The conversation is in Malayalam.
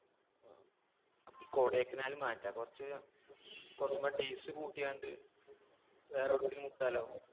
ആ നമുക്ക് ഈ കൊടൈക്കനാൽ മാറ്റാ. കുറച്ചു കുറച്ചൂടെ days കൂട്ടി അങ്ങട് വേറെ എവിടെക്കെങ്കിലും വിട്ടാലോ?